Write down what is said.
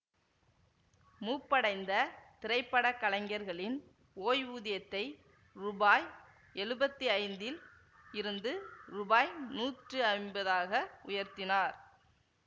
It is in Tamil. மூப்படைந்த திரை பட கலைஞர்களின் ஓய்வூதியத்தை ரூபாய் எழுவத்தி ஐந்தில் இருந்து ரூபாய் நூற்றி ஐம்பதாக உயர்த்தினார்